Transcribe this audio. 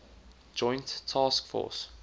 joint task force